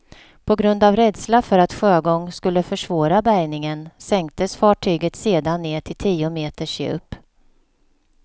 På grund av rädsla för att sjögång skulle försvåra bärgningen sänktes fartyget sedan ned till tio meters djup.